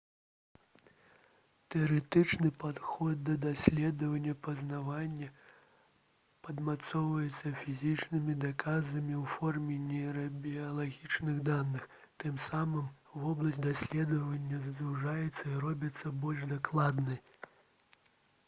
тэарэтычны падыход да даследавання пазнання падмацоўваецца фізічнымі доказамі ў форме нейрабіялагічных даных тым самым вобласць даследавання звужаецца і робіцца больш дакладнай